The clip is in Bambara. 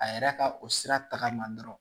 A yɛrɛ ka o sira taga ma dɔrɔn